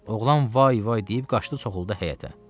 Oğlan vay-vay deyib qaçdı soxuldu həyətə.